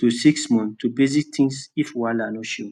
to six months for basic things if wahala show